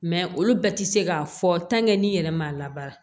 olu bɛɛ ti se k'a fɔ n'i yɛrɛ man labaara